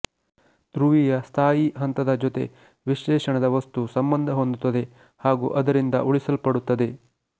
ಧ್ರುವೀಯ ಸ್ಥಾಯಿ ಹಂತದ ಜೊತೆ ವಿಶ್ಲೇಷಣದ ವಸ್ತು ಸಂಬಂಧ ಹೊಂದುತ್ತದೆ ಹಾಗೂ ಅದರಿಂದ ಉಳಿಸಲ್ಪಡುತ್ತದೆ